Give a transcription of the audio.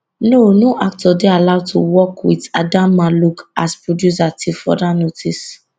no no actor dey allowed to work wit adamma luke as producer till further notice